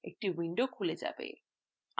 একটি window খুলে যাবে